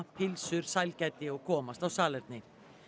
pylsur sælgæti og komast á salerni